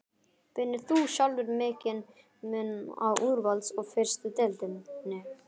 Finnur þú sjálfur mikinn mun á úrvals og fyrstu deildinni?